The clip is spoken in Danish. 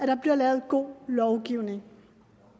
der bliver lavet god lovgivning